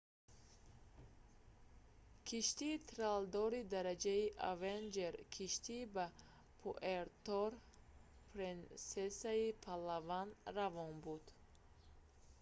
киштии тралдори дараҷаи avenger киштӣ ба пуэрто-принсесаи палаван равон буд